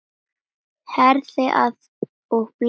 Herðið að og bindið hnút.